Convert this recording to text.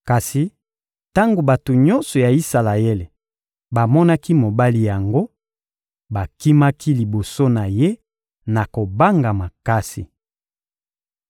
Kasi tango bato nyonso ya Isalaele bamonaki mobali yango, bakimaki liboso na ye na kobanga makasi.